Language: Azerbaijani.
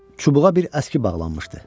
Çubuğa bir əski bağlanmışdı.